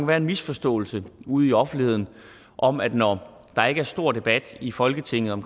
være en misforståelse ude i offentligheden om at når der ikke er stor debat i folketinget om